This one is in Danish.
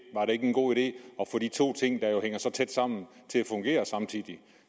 ikke en god idé at få de to ting der jo hænger så tæt sammen til at fungere samtidig